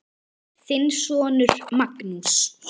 Þinn sonur Magnús.